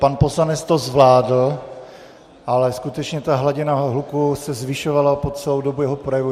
Pan poslanec to zvládl, ale skutečně ta hladina hluku se zvyšovala po celou dobu jeho projevu.